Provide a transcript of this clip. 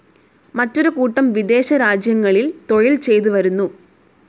മറ്റൊരു കൂട്ടം വിദേശ രാജ്യങ്ങളിൽ തൊഴിൽ ചെയ്തു വരുന്നു.